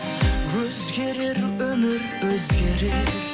өзгерер өмір өзгерер